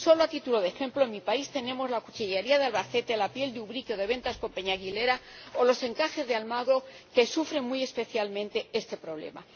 Solo a título de ejemplo, en mi país tenemos la cuchillería de Albacete, la piel de Ubrique o de Ventas con Peña Aguilera o los encajes de Almagro, que sufren muy especialmente este problema.